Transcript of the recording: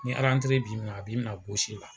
Ni b'i mina, a b'i mina la.